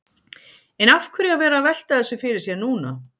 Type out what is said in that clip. En af hverju að vera að velta þessu fyrir sér núna?